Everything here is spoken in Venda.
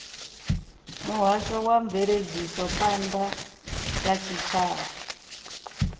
muhasho wa mveledzisophan ḓa ya tshitshavha